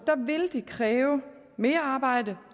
vil det kræve mere arbejde